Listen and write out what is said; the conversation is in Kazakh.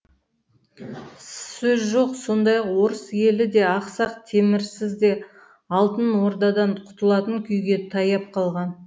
сөз жоқ сондай ақ орыс елі де ақсақ темірсіз де алтын ордадан құтылатын күйге таяп қалған